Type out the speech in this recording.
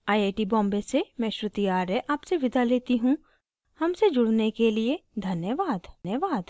iit iit T Bombay से मैं श्रुति आर्य आपसे विदा लेती हूँ हमसे जुड़ने के लिए धन्यवाद